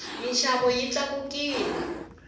minxavo yi tlakukile